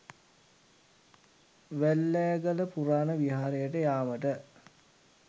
වැල්ලෑගල පුරාණ විහාරයට යාමට